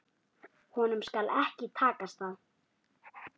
Honum skal ekki takast það!